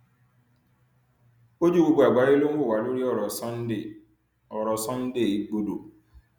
ojú gbogbo àgbáyé ló ń wò wá lórí ọrọ sunday ọrọ sunday igbodò